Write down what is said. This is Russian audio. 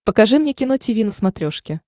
покажи мне кино тиви на смотрешке